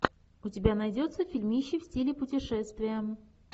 у тебя найдется фильмище в стиле путешествия